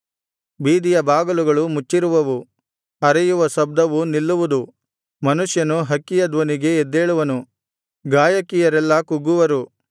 ಬೀದಿಯ ಬಾಗಿಲುಗಳು ಮುಚ್ಚಿರುವವು ಅರೆಯುವ ಶಬ್ದವು ನಿಲ್ಲುವುದು ಮನುಷ್ಯನು ಹಕ್ಕಿಯ ಧ್ವನಿಗೆ ಎದ್ದೇಳುವನು ಗಾಯಕಿಯರೆಲ್ಲಾ ಕುಗ್ಗುವರು